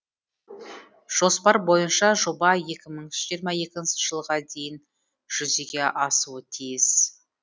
жоспар бойынша жоба екі мың жиырма екінші жылға дейін жүзеге асуы тиіс